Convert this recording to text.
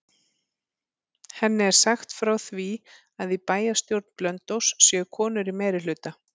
Henni er sagt frá því að í bæjarstjórn Blönduóss séu konur í meirihluta.